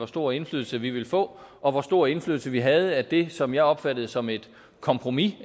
stor indflydelse vi vil få og hvor stor indflydelse vi havde på det som jeg opfattede som et kompromis